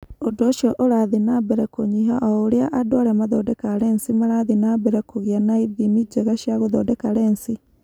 Ũndũ ũcio ũrathiĩ na mbere kũnyiha o ũrĩa andũ arĩa mathondekaga lensi marathiĩ na mbere kũgĩa na ithimi njega cia gũthondeka lensi